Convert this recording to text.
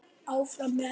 Áfram með þetta.